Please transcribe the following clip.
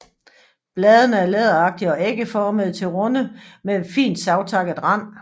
Bladene er læderagtige og ægformede til runde med fint savtakket rand